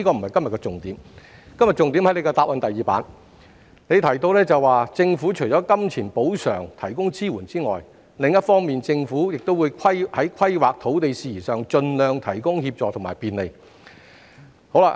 我今天的重點在於局長的主體答覆第二頁，當中提到："......政府的金錢補償可提供支援，另一方面政府也會在規劃及土地事宜上盡量提供協助及便利。